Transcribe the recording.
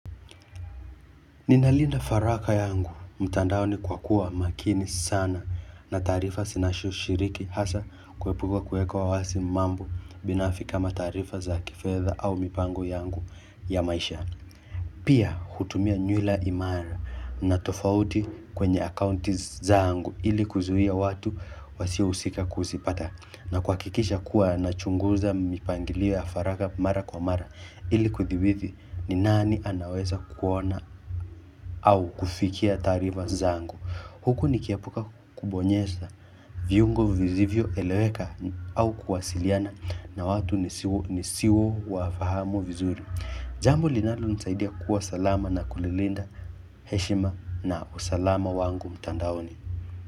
Ninalinda faraka yangu, mtandaoni kwa kuwa makini sana na taarifa zinashu shiriki hasa kuepuka kuwekwa wasi mambo binafiki kama taarifa za kifedha au mipango yangu ya maisha. Pia hutumia nyula imara na tofauti kwenye akounti zaangu ili kuzuia watu wasio husika kusipata na kwa kihakikisha kuwa na chunguza mipangilio ya faraka mara kwa mara ili kuthibithi ni nani anaweza kuona au fikia tariva zangu. Huku niki epuka kubonyesa. Viungo vizivyo eleweka au kuwasiliana na watu nisiwo wafahamu vizuri. Jambo linalo nisaidia kuwa salama na kulilinda. Heshima na usalama wangu mtandaoni.